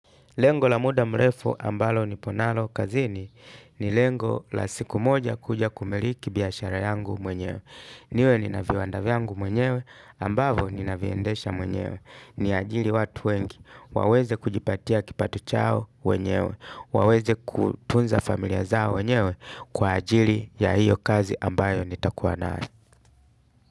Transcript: Lengo la muda mrefu ambalo nipo nalo kazini ni lengo la siku moja kuja kumiliki biashara yangu mwenyewe. Niwe nina viwanda vyangu mwenyewe ambavo ninaviendesha mwenyewe. Niajiri watu wengi waweze kujipatia kipato chao mwenyewe. Waweze kutunza familia zao wenyewe kwa ajili ya hiyo kazi ambayo nitakuwa nayo.